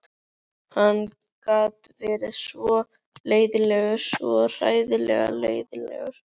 Hann gat verið svo leiðinlegur, svo hræðilega leiðinlegur.